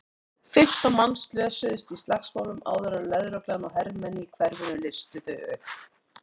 Fimmtán manns slösuðust í slagsmálunum áður en lögregla og hermenn í hverfinu leystu þau upp.